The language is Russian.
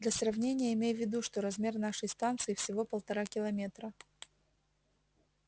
для сравнения имей в виду что размер нашей станции всего полтора километра